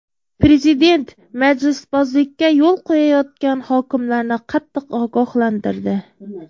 Prezident majlisbozlikka yo‘l qo‘yayotgan hokimlarni qattiq ogohlantirdi.